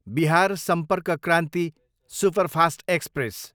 Bihar Sampark Kranti superfast express